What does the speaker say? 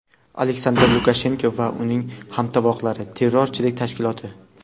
Aleksandr Lukashenko va uning hamtovoqlari – terrorchilik tashkiloti.